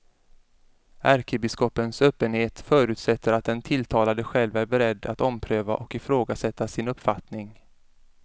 Ärkebiskopens öppenhet förutsätter att den tilltalade själv är beredd att ompröva och ifrågasätta sin uppfattning.